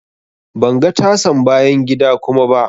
Ban ga tasan bayan gida kuma ba.